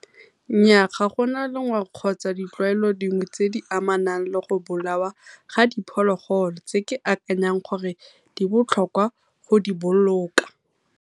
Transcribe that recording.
Nnyaa ga gona kgotsa ditlwaelo dingwe tse di amanang le go bolawa ga diphologolo, tse ke akanyang gore di botlhokwa go di boloka.